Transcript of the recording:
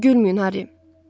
Gülməyin, Harri.